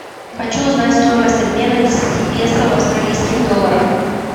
хочу узнать стоимость обмена десяти песо в австралийских долларах